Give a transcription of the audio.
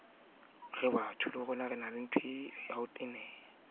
a sa dumele ho ka